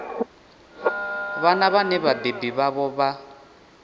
vhana vhane vhabebi vhavho vha